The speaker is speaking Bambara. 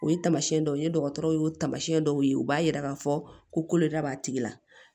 O ye tamasiyɛn dɔw ye dɔgɔtɔrɔ y'o tamasiyɛn dɔw ye u b'a yira k'a fɔ ko koloda b'a tigi la